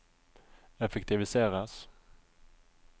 effektiviseres